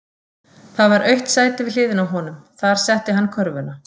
Það var autt sæti við hliðina á honum, þar setti hann körfuna.